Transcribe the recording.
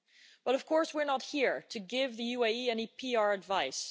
But of course we're not here to give the UAE any PR advice.